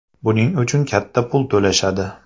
Buning uchun katta pul to‘lashadi.